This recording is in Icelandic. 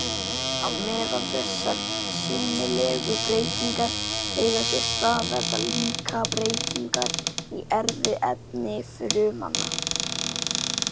Á meðan þessar sýnilegu breytingar eiga sér stað verða líka breytingar í erfðaefni frumanna.